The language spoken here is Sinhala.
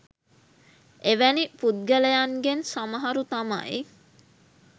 එවැනි පුද්ගලයන්ගෙන් සමහරු තමයි